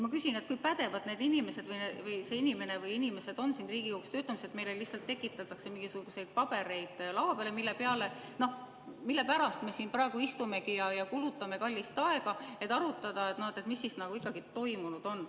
Ma küsin, et kui pädevad need inimesed või see inimene on siin Riigikogus töötamiseks, kui meile lihtsalt tekitatakse mingisuguseid pabereid laua peale, mille pärast me siin praegu istumegi ja kulutame kallist aega, et arutada, mis ikkagi toimunud on.